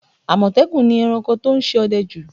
Àmọ̀tẹ́kùn ni ẹranko tó ń ṣe ọdẹ jù